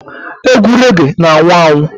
Egwu rege na-anwụ anwụ.